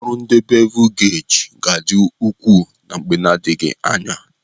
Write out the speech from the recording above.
Ọrụ ndi bevul geji gadi ukwu na mgbe nadighi anya.